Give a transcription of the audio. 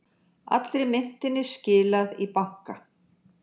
Allri myntinni skilað í banka